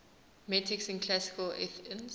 metics in classical athens